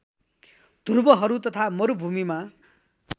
ध्रुवहरू तथा मरूभूमिमा